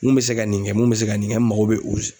Mun bɛ se ka nin kɛ mun bɛ se ka nin kɛ n mago bɛ o s